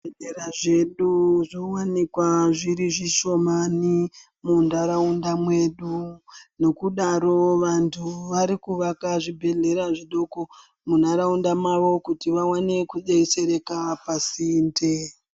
Zvibhedhlera zvedu zvowanikwa zviri zvishomani muntharaunda mwedu nokudaro vanthu vari kuvaka zvibhedhlera zvidoko munharaunda mwavo kuti vaone kudetsereka pasinde.